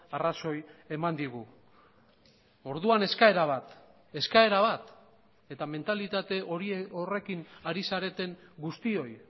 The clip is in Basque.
arrazoi eman digu orduan eskaera bat eskaera bat eta mentalitate horrekin ari zareten guztioi